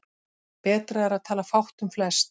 Betra er að tala fátt um flest.